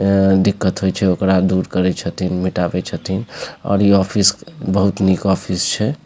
अ-अ दिक्कत होइ छे ओकरा दूर करी छथिन मिटवई छथिन और ये ऑफिस बहुत निक ऑफिस छे।